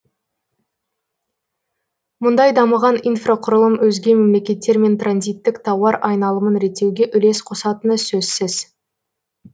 мұндай дамыған инфрақұрылым өзге мемлекеттермен транзиттік тауар айналымын реттеуге үлес қосатыны сөзсіз